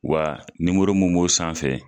Wa nimoro mun b'o sanfɛ